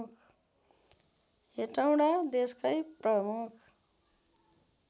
हेटौँडा देशकै प्रमुख